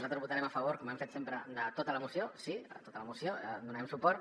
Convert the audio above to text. nosaltres votarem a favor com hem fet sempre de tota la moció sí a tota la moció donarem suport